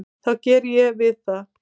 þá geri ég við það.